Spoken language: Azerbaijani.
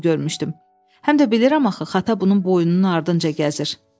Həm də bilirəm axı, xata bunun boynunun ardınca gəzir.